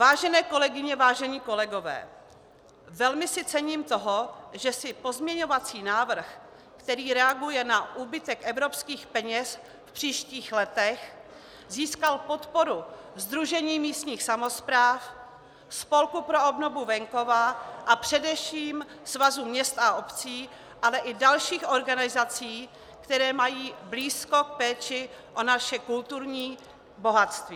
Vážené kolegyně, vážení kolegové, velmi si cením toho, že si pozměňovací návrh, který reaguje na úbytek evropských peněz v příštích letech, získal podporu Sdružení místních samospráv, Spolku pro obnovu venkova a především Svazu měst a obcí, ale i dalších organizací, které mají blízko k péči o naše kulturní bohatství.